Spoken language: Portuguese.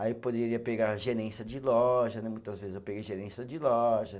Aí poderia pegar gerência de loja né, muitas vezes eu peguei gerência de loja.